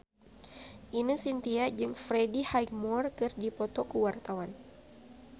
Ine Shintya jeung Freddie Highmore keur dipoto ku wartawan